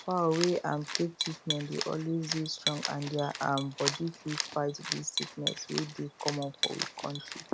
fowl wey um take treatment dey always dey strong and deir um body fit fight big sickness wey dey common for we kontri